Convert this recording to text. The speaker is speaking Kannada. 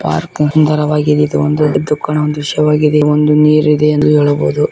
ಪಾರ್ಕ್ ಸುಂದರವಾಗಿದೆ ಇದು ಒಂದು ಕಾಣುವ ದೃಶ್ಯವಾಗಿದೆ ಒಂದು ನೀರಿದೆ ಎಂದು ಏಳಬಹುದು.